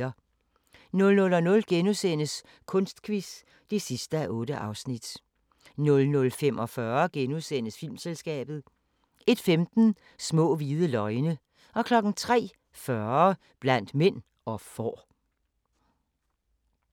00:00: Kunstquiz (8:8)* 00:45: Filmselskabet * 01:15: Små hvide løgne 03:40: Blandt mænd og får